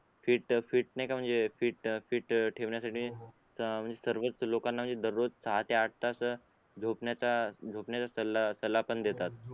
fit fit fit नाय का म्हणजे फिट फिट ठेवण्यासाठी हो हो सर्वच लोकांना म्हणजे दररोज सहा ते आठ तास झोपण्याचा झोपण्याचा सला सल्ला पण देतात